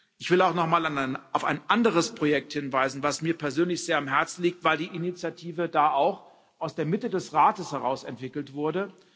Ich will auch nochmal auf ein anderes Projekt hinweisen, das mir persönlich sehr am Herzen liegt, weil die Initiative da auch aus der Mitte des Rates heraus entwickelt wurde.